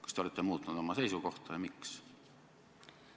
Kas te olete muutnud oma seisukohta ja kui olete, siis miks?